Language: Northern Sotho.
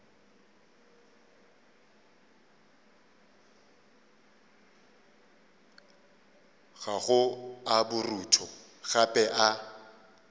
gago a borutho gape a